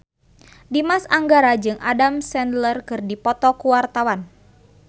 Dimas Anggara jeung Adam Sandler keur dipoto ku wartawan